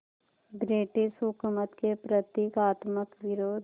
British हुकूमत के प्रतीकात्मक विरोध